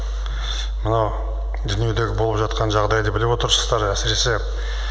мынау дүниедегі болып жатқан жағдайды біліп отырсыздар әсіресе